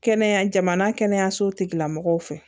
Kɛnɛya jamana kɛnɛyaso tigilamɔgɔw fɛ